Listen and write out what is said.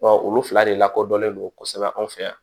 olu fila de lakodɔnlen don kosɛbɛ anw fɛ yan